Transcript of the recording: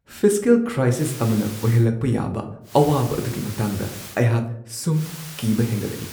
Fiscal crisis ꯑꯃꯅ ꯑꯣꯏꯍꯜꯂꯛꯄ ꯌꯥꯕ ꯑꯋꯥꯕ ꯑꯗꯨꯒꯤ ꯃꯇꯥꯡꯗ ꯑꯩꯍꯥꯛ ꯁꯨꯝ ꯀꯤꯕ ꯍꯦꯟꯒꯠꯂꯛꯏ ꯫